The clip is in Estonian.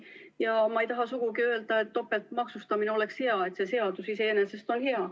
Ja ma ei taha sugugi öelda, et topeltmaksustamine on hea, et see seadus iseenesest on hea.